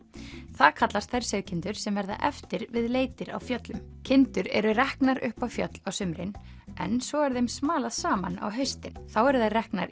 það kallast þær sauðkindur sem verða eftir við leitir á fjöllum kindur eru reknar upp á fjöll á sumrin en svo er þeim smalað saman á haustin þá eru þær reknar í